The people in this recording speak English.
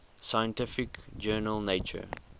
scientific journal nature